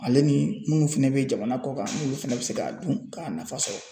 Ale ni munnu fɛnɛ be jamana kɔ kan, n'olu fɛnɛ be se k'a dun k'a nafa sɔrɔ .